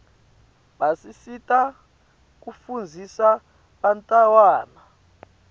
basisita kufundzisa bantawana